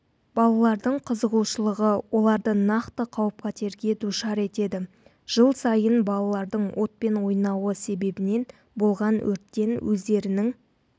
балалардың қызығушылығы оларды нақты қауіп-қатерге душар етеді жыл сайын балалардың отпен ойнауы себебінен болған өрттен өздерінің